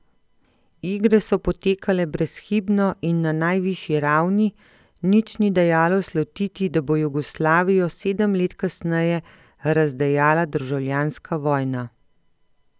Igre so potekale brezhibno in na najvišji ravni, nič ni dajalo slutiti, da bo Jugoslavijo sedem let kasneje razdejala državljanska vojna.